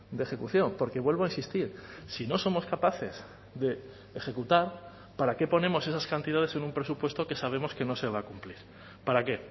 de ejecución porque vuelvo a insistir si no somos capaces de ejecutar para qué ponemos esas cantidades en un presupuesto que sabemos que no se va a cumplir para qué